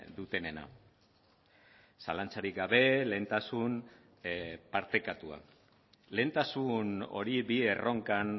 dutenena zalantzarik gabe lehentasun partekatua lehentasun hori bi erronkan